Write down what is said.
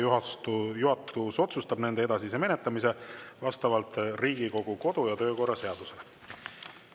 Juhatus otsustab nende edasise menetlemise vastavalt Riigikogu kodu- ja töökorra seadusele.